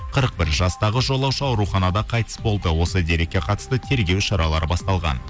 қырық бір жастағы жолаушы ауруханада қайтыс болды осы дерекке қатысты тергеу шаралары басталған